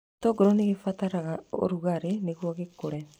Gĩtũngũrũ nĩ gĩbataraga rugarĩ nĩguo kĩagĩre.